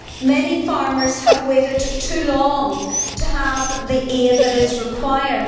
Many farmers have waited too long to have the aid that is required.